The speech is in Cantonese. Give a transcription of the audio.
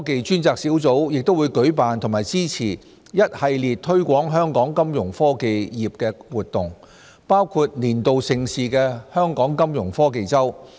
專責小組亦會舉辦和支持一系列推廣香港金融科技業的活動，包括年度盛事香港金融科技周。